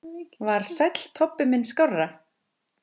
Var Sæll Tobbi minn skárra?